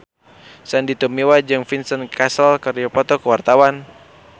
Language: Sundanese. Sandy Tumiwa jeung Vincent Cassel keur dipoto ku wartawan